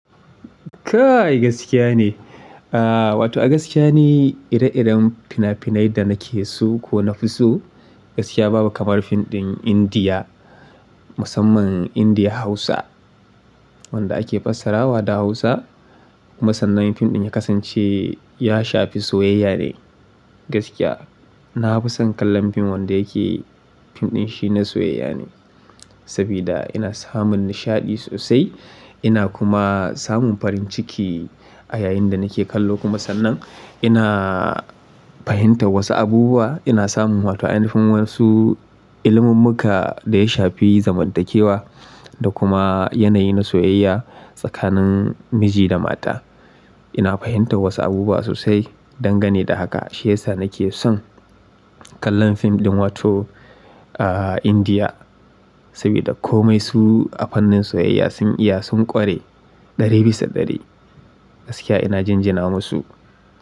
Ka'ai gaskiya ne. Ah wato a gaskiya ne ire-iren finafinai da nake so ko nafi so gaskiya babu kamar fim ɗin Indiya musamman Indiya Hausa wanda ake fassara wa da Hausa. Kuma sannan fim ɗin ya kasance ya shafi soyayya ne gaskiya. Na fi son kallon fim wanda yake fim ɗin shi na soyayya ne. Sabida ina samun nishaɗi sosai ina kuma samun farin ciki a yayin da nake kallo. Kuma sannan ina fahimtar wasu abubuwa ina samun wato ainifin wasu ilimummuka da ya shafi zamantakewa da kuma yanayi na soyayya tsakanin miji da mata. Ina fahimtar wasu abubuwa sosai dangane da haka shiyasa nake son kallon fim ɗin wato ah Indiya sabida komai su a fannin soyayya sun iya sun ƙware ɗari bisa ɗari gaskiya ina jinjina musu.